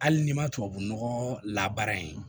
Hali n'i ma tubabunɔgɔ labaara yen